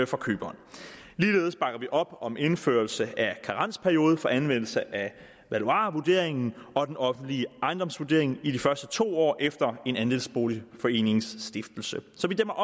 for køberen ligeledes bakker vi op om indførelse af karensperiode for anvendelse af valuarvurderingen og den offentlige ejendomsvurdering i de første to år efter en andelsboligforenings stiftelse så vi dæmmer